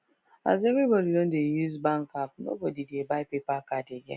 as everybody don dey use bank app nobody dey buy paper card again